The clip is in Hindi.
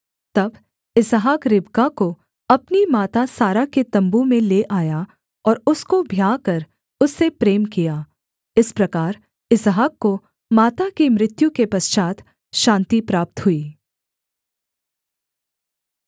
तब इसहाक रिबका को अपनी माता सारा के तम्बू में ले आया और उसको ब्याह कर उससे प्रेम किया इस प्रकार इसहाक को माता की मृत्यु के पश्चात् शान्ति प्राप्त हुई